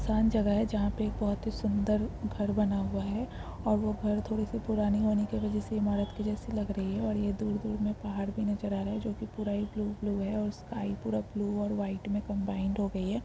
शांत जगह है जहा पर एक बहुत ही सुन्दर घर बना हुआ है और वो घर थोड़े से पुराने होने की वजह से ईमारत के जैसे लगा रही है और ये दूर दूर में पहाड़ भी नजर आ रहे है जो की पूरा ही ब्लू ब्लू है और स्काई पूरा ब्लू और वाइट में कम्बाइन हो गयी है।